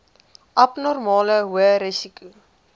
abnormale hoë risiko